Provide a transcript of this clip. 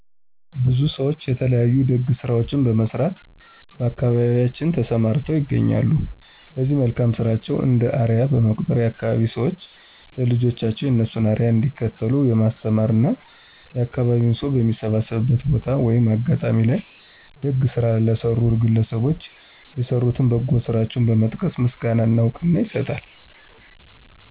ብዙ ሰዎች የተለያዩ ደግ ስራዎችን በመስራት በአካባቢያችን ተሰማርተው ይገኛሉ ለዚህ መልካም ስራቸው እንደ አርያ በመቁጠር የአካባቢዉ ሰዎች ለልጆቻቸው የእነሱን አርያ እንዲከተሉ የማስተማር እና የአካባቢው ሰው በሚሰባሰብበት ቦታ(አጋጣሚ) ላይ ደግ ስራ ለሰሩት ግለሰቦች የሰሩትን በጎ ስራቸውን በመጥቀስ ምስጋና እና እውቅና ይሰጣል።